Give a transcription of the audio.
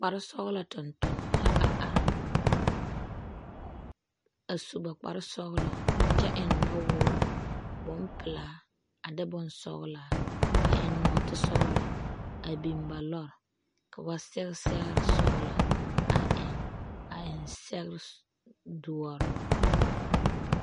Kpare sɔgelɔ tontonema la a are a su ba kpare sɔgelɔ kyɛ eŋ nɔwoore bompelaa a de bonsɔgelaa a eŋ nɔɔtesɔgelɔ a biŋ la lɔre ka ba sɛge sɛgere sɔgelɔ a eŋ a eŋ sɛgere doɔre.